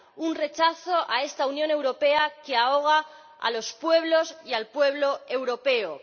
un rechazo a esta Unión Europea que ahoga a los pueblos y al pueblo europeo.